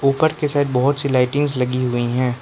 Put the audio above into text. ऊपर के साइड बहुत सी लाइटिंग्स लगी हुई है।